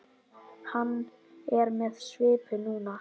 Hann er með svipu núna.